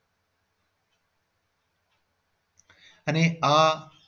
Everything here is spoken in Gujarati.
અને આ